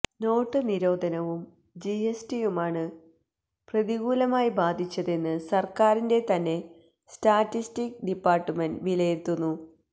not നിരോധനവും G S ടിയുമാണ് പ്രതികൂലമായി ബാധിച്ചതെന്ന് സർക്കാരിന്റെ തന്നെ സ്റ്റാറ്റിസ്റ്റിക്സ് ഡിപ്പാർട്മെന്റ് വിലയിരുത്തുന്നു